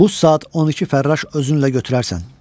Buz saat 12 fərraş özünlə götürərsən.